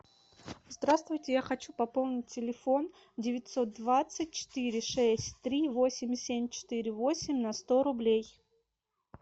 здравствуйте я хочу пополнить телефон девятьсот двадцать четыре шесть три восемь семь четыре восемь на сто рублей